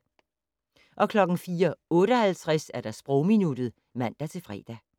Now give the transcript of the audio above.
04:58: Sprogminuttet (man-fre)